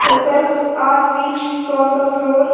The shelves are reach from the floor.